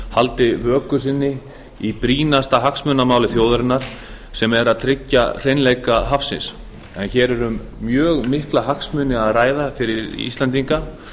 haldi vöku sinni í brýnasta hagsmunamáli þjóðarinnar sem er að tryggja hreinleika hafsins en hér er um mjög mikla hagsmuni að ræða fyrir íslendinga